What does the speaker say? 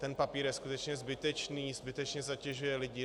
Ten papír je skutečně zbytečný, zbytečně zatěžuje lidi.